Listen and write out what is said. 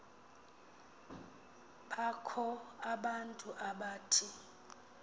bakho abantu abathi